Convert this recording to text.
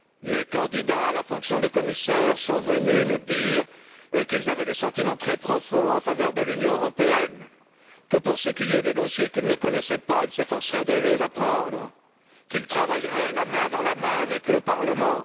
Les candidats à la fonction de commissaire sont venus nous dire qu'ils avaient des sentiments très profonds en faveur de l'Union européenne, que, pour ce qui est des dossiers qu'ils ne connaissaient pas, ils s'efforceraient de les apprendre et qu'ils travailleraient la main dans la main avec le Parlement.